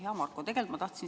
Hea Marko!